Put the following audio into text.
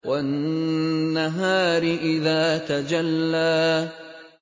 وَالنَّهَارِ إِذَا تَجَلَّىٰ